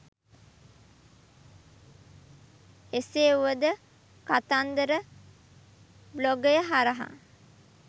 එසේ වුවද කතන්දර බ්ලොගය හරහා